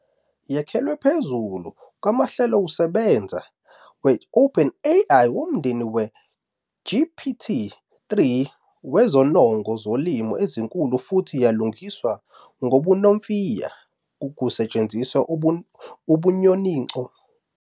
Yakhelwe phezu kwamahlelokusebenza we-OpenAI womndeni we-GPT-3 wezinongo zolimi ezinkulu futhi yalungiswa-ngobunomfiya kusetshenziswa ubunyoninco bokufunda okuqondiswayo nokufunda okufakelelwayo.